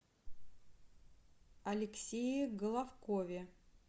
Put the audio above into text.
алексее головкове